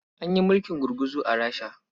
An yi mulkin gurguzu a Rasha.